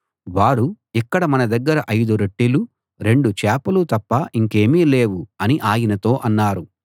వారు ఇక్కడ మన దగ్గర ఐదు రొట్టెలూ రెండు చేపలూ తప్ప ఇంకేమీ లేవు అని ఆయనతో అన్నారు